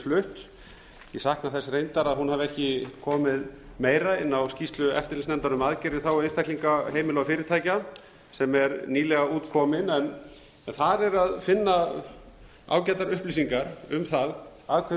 flutt ég sakna þess reyndar að hún hafi ekki komið meira inn á skýrslu eftirlitsnefndar um aðgerða í þágu einstaklinga heimila og fyrirtækja sem er nýlega komin en þar er að finna ágætar upplýsingar um það að hve